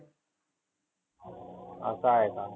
असं आहे का?